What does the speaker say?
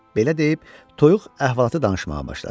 Belə deyib toyuq əhvalatı danışmağa başladı.